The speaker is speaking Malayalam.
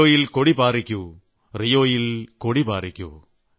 റിയോയിൽ കൊടി പാറിക്കൂ റിയോയിൽ കൊടി പാറിക്കൂ